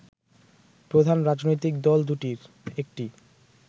প্রধান রাজনৈতিক দল দুটির একটি